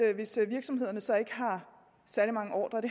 at hvis virksomhederne så ikke har særlig mange ordrer og